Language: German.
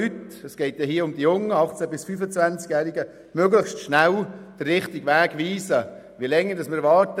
Wir müssen diesen jungen, 18- bis 25-jährigen Leuten möglichst schnell den richtigen Weg weisen.